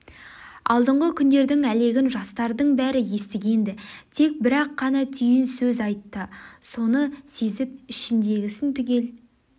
алдыңғы күндердің әлегін жастардың бәрі естіген-ді тек бір-ақ қана түйін сөз айтты соны сезіп ішіндегісін түгел